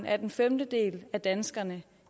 at en femtedel af danskerne